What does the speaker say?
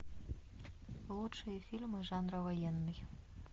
лучшие фильмы жанра военный